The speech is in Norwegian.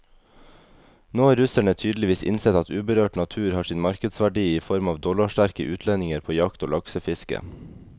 Nå har russerne tydeligvis innsett at uberørt natur har sin markedsverdi i form av dollarsterke utlendinger på jakt og laksefiske.